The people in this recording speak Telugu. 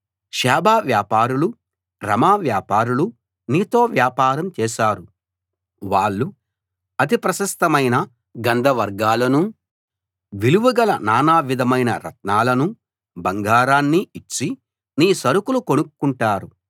షేబ వ్యాపారులు రమా వ్యాపారులు నీతో వ్యాపారం చేశారు వాళ్ళు అతి ప్రశస్తమైన గంధవర్గాలనూ విలువగల నానా విధమైన రత్నాలనూ బంగారాన్నీ ఇచ్చి నీ సరుకులు కొనుక్కుంటారు